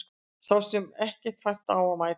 Sá sér ekki fært á að mæta